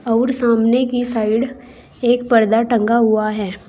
और सामने की साइड एक पर्दा टंगा हुआ है।